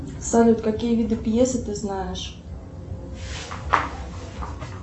салют какие виды пьесы ты знаешь